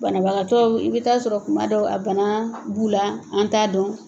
Banabagatɔw, i bɛ t'a sɔrɔ kuma dɔw , a bana b'u la an t'a dɔn.